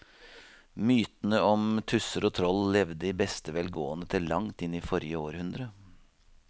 Mytene om tusser og troll levde i beste velgående til langt inn i forrige århundre.